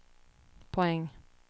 poäng